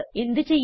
എന്ത് ചെയ്യും